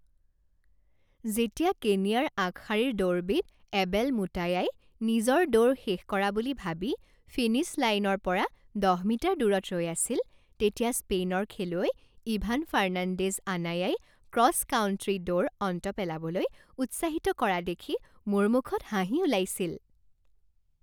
যেতিয়া কেনিয়াৰ আগশাৰীৰ দৌৰবিদ এবেল মুটায়াই নিজৰ দৌৰ শেষ কৰা বুলি ভাবি ফিনিশ্ব লাইনৰ পৰা দহ মিটাৰ দূৰত ৰৈ আছিল তেতিয়া স্পেইনৰ খেলুৱৈ Ivan Fernandez Anaya cross country দৌৰ অন্ত পেলাবলৈ উৎসাহিত কৰা দেখি মোৰ মুখত হাঁহি উলাইছিল।